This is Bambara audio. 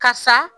Ka sa